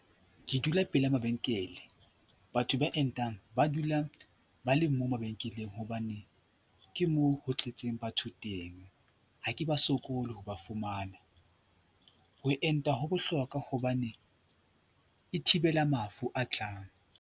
Ke dula pele mabenkele, batho ba entang ba dulang ba le mo mabenkeleng hobane ke moo ho tletseng batho teng. Ha ke ba sokole ho ba fumana. Ho enta ho bohlokwa hobane e thibela mafu a tlang.